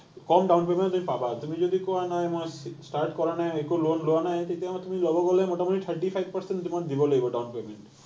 কম down payment দি পাবা। তুমি যদি কোৱা নাই, মই start কৰা নাই, একো loan লোৱা নাই, তেতিয়াহ’লে তুমি ল’ব গ’লে মোটামুটি thirty five percent তোমাৰ দিব লাগিব down payment ।